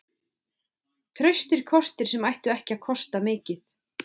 Traustir kostir sem ættu ekki að kosta mikið.